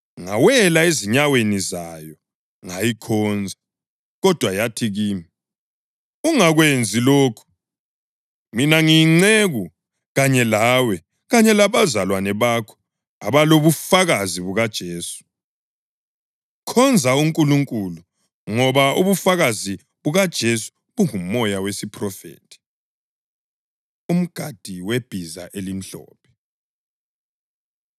Ngawela ezinyaweni zayo ngayikhonza. Kodwa yathi kimi, “Ungakwenzi lokhu! Mina ngiyinceku kanye lawe kanye labazalwane bakho abalobufakazi bukaJesu. Khonza uNkulunkulu! Ngoba ubufakazi bukaJesu bungumoya wesiphrofethi.” Umgadi Webhiza Elimhlophe